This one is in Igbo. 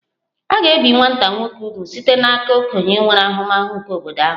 A ga-ebi nwata nwoke úgwù site n'aka okenye nwere ahụmahụ nke obodo ahụ